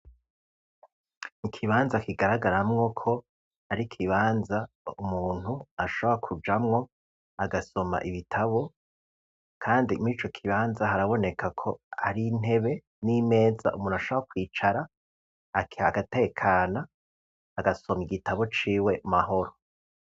Ikibanza kigaragaramwo ko ari ko ibanza umuntu ashaba kujamwo agasoma ibitabo, kandi muri co kibanza haraboneka ko ari ntebe n'imeza umuntu ashaba kwicara akih agatekana agasoma igitabo ciwe mahoro.